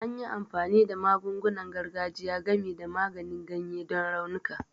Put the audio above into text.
An yi amfani da magungunan gargajiya, gami da maganin ganye, don raunuka